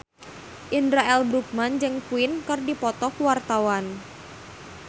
Indra L. Bruggman jeung Queen keur dipoto ku wartawan